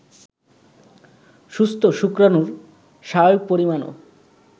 সুস্থ্য শুক্রাণুর স্বাভাবিক পরিমাণও